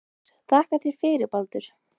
Þórdís: Þakka þér fyrir Baldur.